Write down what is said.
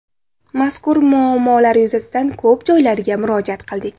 Mazkur muammolar yuzasidan ko‘p joylarga murojaat qildik.